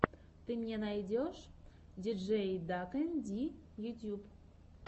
ты мне найдешь диджейдакэнди ютьюб